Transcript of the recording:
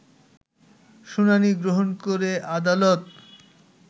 শুনানি গ্রহণ করে আদালত